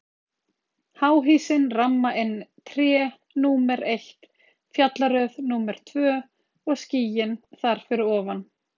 Háhýsin ramma inn tré, númer eitt, fjallaröð númer tvö og skýin þar fyrir ofan.